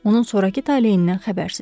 Onun sonrakı taleyindən xəbərsizik.